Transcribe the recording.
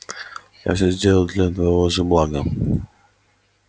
я все сделал для твоего же блага